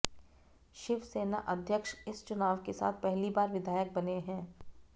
शिवसेना अध्यक्ष इस चुनाव के साथ पहली बार विधायक बने हैं